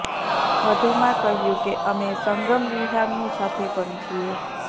વધુમાં કહ્યું કે અમે સંગમ વિહારની સાથે પણ છીએ